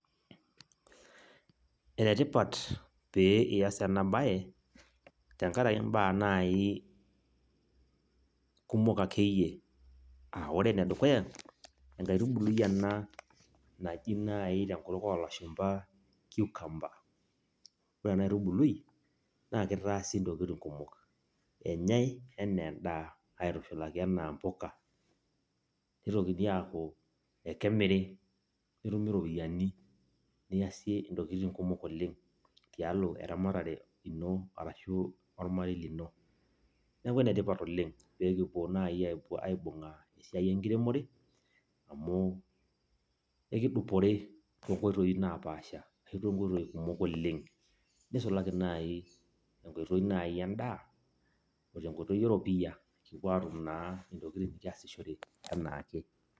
Enetipat pee iyas enabae, tenkaraki imbaa nai kumok akeyie. Ah ore enedukuya, enkaitubului ena naji nai tenkutuk olashumpa cucumber. Ore enaitubului, naa kitaasi intokiting kumok. Enyai enaa endaa, aitushulaki enaa mpuka. Nitokini aku ekemiri, netumi ropiyaiani niasie intokiting kumok oleng tialo eramatare ino arashu ormarei lino. Neeku enetipat oleng pekipuo nai aibung'aa esiai enkiremore, amu ekidupore tonkoitoii napaasha ashu tonkoitoii kumok oleng, nisulaki nai enkoitoi nai endaa, ote nkoitoi eropiyia, pekipuo atum naa intokiting nikiasishore enaake.